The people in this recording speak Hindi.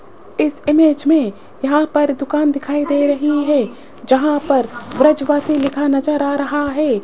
इस इमेज मे यहां पर दुकान दिखाई दे रही है जहां पर ब्रजवासी लिखा नज़र आ रहा है।